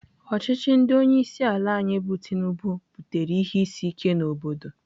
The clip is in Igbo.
Ọchịchị ndị onyeisiala anyị bụ Tinubu butere ihe isi ike n'obodo.